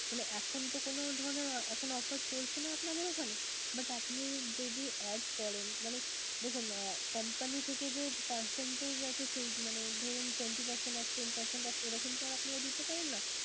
মানে এখনতো কোন ধরনের এখন কোন offer চলছে না আপনাদের ওখানে but আপনি যদি add করেন মানে দেখুন company থেকে যে percentage আছে সেই মানে ধরুন twenty percent off, ten percent off এরকম তো আর আপনারা দিতে পারেন না